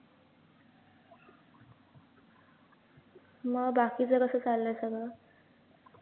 मग बाकीचं कसं चाललंय सगळं